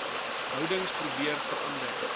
houdings probeer verander